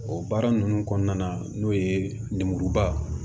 O baara ninnu kɔnɔna na n'o ye nemuruba